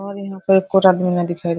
और यहाँ पर आपको दिखाई--